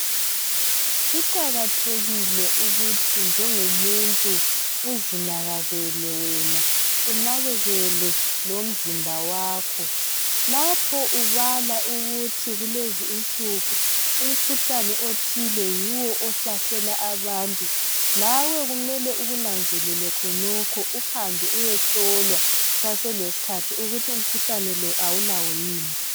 Kuqakathekile ukuthi njengomuntu uzinakakele wena unakekele lomzimba wakho lapho ubala ukuthi kulezinsuku umkhuhlane othile yiwo ihlasela abantu lawe kumele ukunanzelele khonokho uhambe uyehlolwa kusaselesikhathi ukuthi umkhuhlane lo awulawo yini.